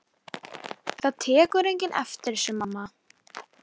Það tekur enginn eftir þessu, mamma.